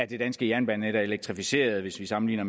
det danske jernbanenet er elektrificeret hvis vi sammenligner